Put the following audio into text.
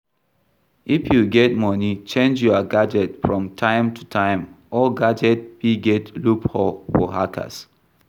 If you get money, change your gadget from time to time old gadget fit get loop hole for hackers